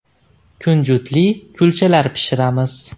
Kunjutli kulchalar pishiramiz.